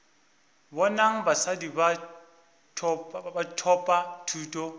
bonang basadi ba thopa thuto